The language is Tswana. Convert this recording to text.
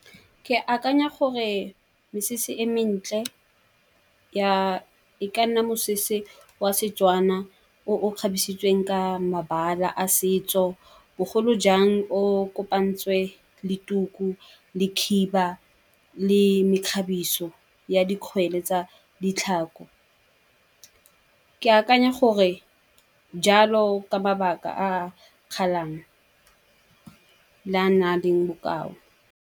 Ke akanya gore mesese e mentle e ka nna mosese wa Setswana o o kgabisitsweng ka mabala a setso. Bogolo jang o kopantsweng le tuku le khiba le mekgabiso ya dikgwele tsa ditlhako. Ke akanya gore jalo ka mabaka a le a na leng bokao.